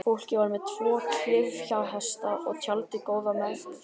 Fólkið var með tvo klyfjahesta og tjaldið góða meðferðis.